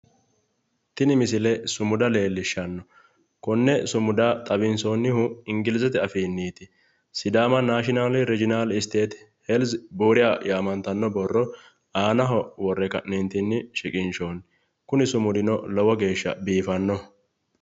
Tini misile sumuda leellishshanno. Konne sumuda xawinsoonnihu ingilizete afiinniiti. "sidaama naashinaali rijinaali isteeti helzi booriya" yaamantanno aanaho worre ka'neentinni shiqinshoonni. Kuni sumudino lowo geeshsha biifannoho.